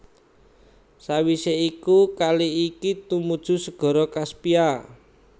Sawisé iku kali iki tumuju Segara Kaspia